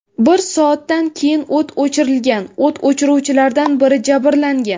Bir soatdan keyin o‘t o‘chirilgan, o‘t o‘chiruvchilardan biri jabrlangan.